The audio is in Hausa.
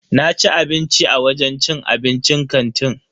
Naci abinci a wajen cin abincin kantin.